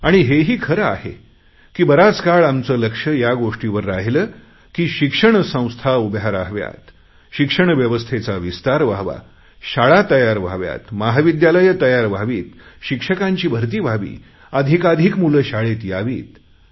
आणि हेही खरं आहे की बराच काळ आमचे लक्ष या गोष्टीवर राहिले की शिक्षण संस्था उभ्या रहाव्यात शिक्षण व्यवस्थेचा विस्तार व्हावा शाळा तयार व्हाव्यात महाविद्यालयं तयार व्हावीत शिक्षकांची भरती व्हावी अधिकाधिक मुले शाळेत यावीत